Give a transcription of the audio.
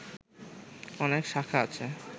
অনেক শাখা আছে